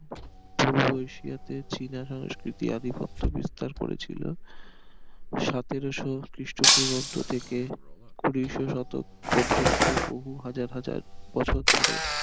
পূর্ব এশিয়াতে চিনা সংস্কৃতি আধিপত্য বিস্তার করেছিল সতেরোশো খ্রিস্ট পূর্বাব্দ থেকে কুড়িশো শতক পর্যন্ত বহু হাজার হাজার বছর ধরে